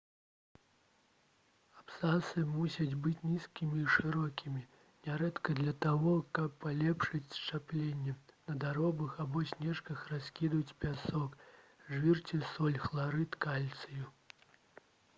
абцасы мусяць быць нізкімі і шырокімі. нярэдка для таго каб палепшыць счапленне на дарогах або сцежках раскідваюць пясок жвір ці соль хларыд кальцыю